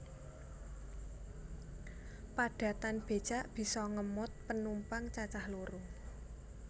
Padatan becak bisa ngemot penumpang cacah loro